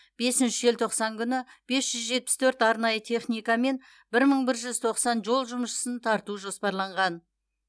бесінші желтоқсан күні бес жүз жетпіс төрт арнайы техника мен бір мың бір жүз тоқсан жол жұмысшысын тарту жоспарланған